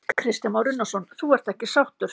Kristján Már Unnarsson: Þú ert ekki sáttur?